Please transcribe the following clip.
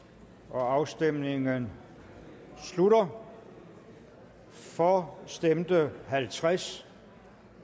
afstemningen slutter for stemte halvtreds